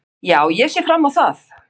Já, ég sé fram á það.